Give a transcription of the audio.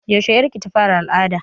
Yaushe ƴar ki ta fara al'ada?